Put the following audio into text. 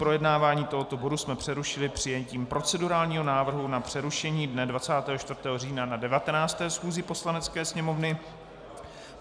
Projednávání tohoto bodu jsme přerušili přijetím procedurálního návrhu na přerušení dne 24. října na 19. schůzi Poslanecké sněmovny.